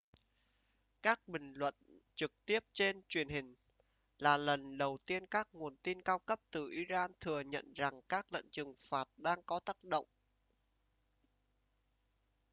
các bình luận trực tiếp trên truyền hình là lần đầu tiên các nguồn tin cao cấp từ iran thừa nhận rằng các lệnh trừng phạt đang có tác động